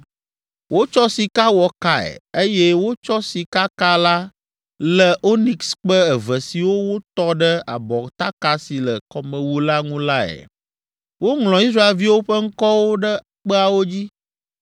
Wotsɔ sika wɔ kae, eye wotsɔ sikaka la lé onikskpe eve siwo wotɔ ɖe abɔtaka si le kɔmewu la ŋu lae. Woŋlɔ Israelviwo ƒe ŋkɔwo ɖe kpeawo dzi,